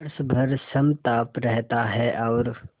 वर्ष भर समताप रहता है और